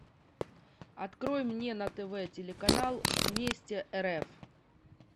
открой мне на тв телеканал вместе рф